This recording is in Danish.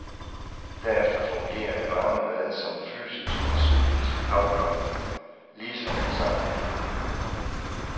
Derefter fungerer det varme bad som fysisk og psykisk afkobling, ligesom en sauna.